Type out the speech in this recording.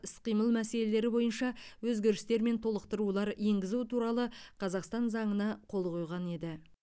іс қимыл мәселелері бойынша өзгерістер мен толықтырулар енгізу туралы қазақстан заңына қол қойған еді